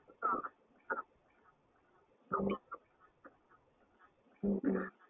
festival லு அப்டினா வந்து போய் dress எடுத்துட்டு இருப்போம். ஆனா இப்போ எல்லாம்